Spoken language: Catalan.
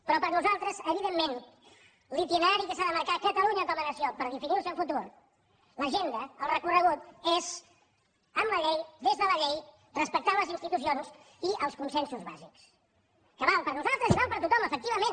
però per a nosaltres evidentment l’itinerari que s’ha de marcar catalunya com a nació per definir el seu futur l’agenda el recorregut és amb la llei des de la llei respectant les institucions i els consensos bàsics que val per a nosaltres i val per a tothom efectivament